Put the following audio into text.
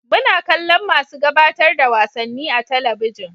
Muna kallon masu gabatar da wasanni a talabijin